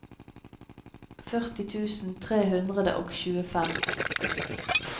førti tusen tre hundre og tjuefem